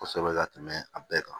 Kosɛbɛ ka tɛmɛ a bɛɛ kan